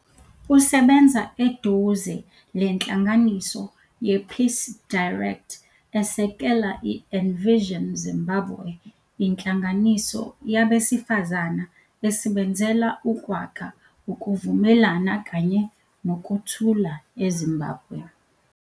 Usebenza eduze lenhlanganiso yePeace Direct esekela i-Envision Zimbabwe, inhlanganiso yabesifazana esebenzela ukwakha ukuvumelana kanye lokuthula eZimbabwe.